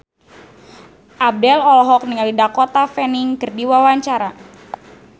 Abdel olohok ningali Dakota Fanning keur diwawancara